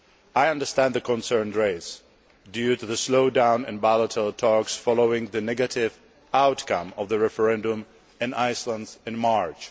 I understand the concerns raised due to the slowdown in bilateral talks following the negative outcome of the referendum in Iceland in March.